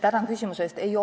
Tänan küsimuse eest!